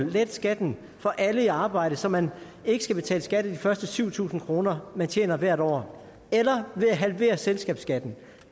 at lette skatten for alle i arbejde så man ikke skal betale skat af de første syv tusind kr man tjener hvert år eller at halvere selskabsskatten